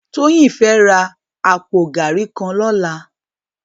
Toyin fè rá àpó gàrí kàn lòlá